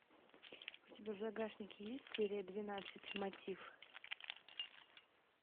у тебя в загашнике есть серия двенадцать мотив